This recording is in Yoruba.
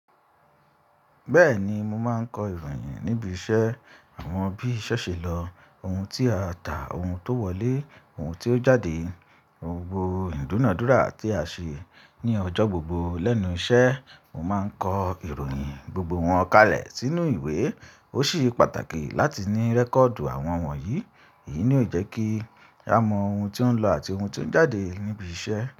Bẹ́ẹ̀ni, mo máa ń kọ ìròyìn níbi iṣẹ́. Àwọn bí iṣẹ́ ṣe lọ, ohun tí a tà, ohun tó wọlé, ohun tí ó jáde, gbogbo ìdúnàádúrà tí a ṣe ní ọjọ́ gbogbo lẹ́nu iṣẹ́, mo máa ń kọ ìròyìn gbogbo wọn kalẹ̀ sínú ìwé. Ó sì ṣe pàtàkì láti ní rẹ́kọ̀dì àwọn yìí. Èyí ni ó jẹ́ kí a mọ ohun tí ó ń lọ àti ohun tí ó ń jáde níbi iṣẹ́